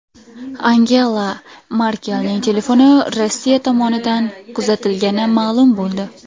Angela Merkelning telefoni Rossiya tomonidan kuzatilgani ma’lum bo‘ldi.